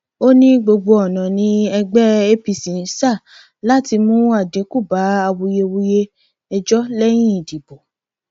ó ní gbogbo ọnà ni ẹgbẹ apc ń san láti mú àdínkù bá awuyewuye ẹjọ lẹyìn ìdìbò